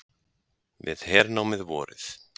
Við hernámið vorið